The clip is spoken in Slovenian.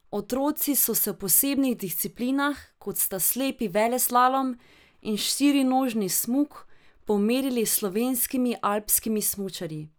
Otroci so se v posebnih disciplinah, kot sta slepi veleslalom in štirinožni smuk, pomerili s slovenskimi alpskimi smučarji.